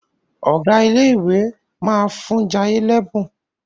Ọgá ilé ìwé má fún Jaiye l'ebun.